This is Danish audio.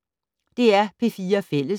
DR P4 Fælles